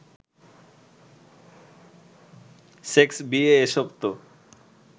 sex, বিয়ে, এসব তো